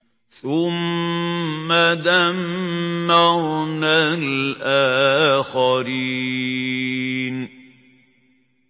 ثُمَّ دَمَّرْنَا الْآخَرِينَ